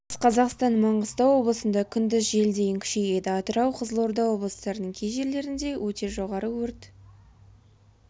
батыс қазақстан маңғыстау облысында күндіз жел дейін күшейеді атырау қызылорда облыстарының кей жерлерінде өте жоғары өрт